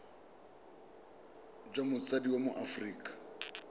jwa motsadi wa mo aforika